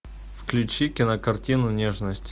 включи кинокартину нежность